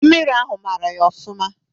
Mmiri ahụ mara ya ofụma.